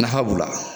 Nafa b'o la